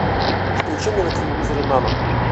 включи мне на телевизоре нано